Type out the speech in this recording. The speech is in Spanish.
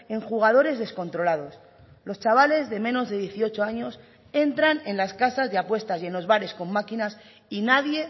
en jugadores descontrolados los chavales de menos de dieciocho años entran en las casas de apuestas y en los bares con máquinas y nadie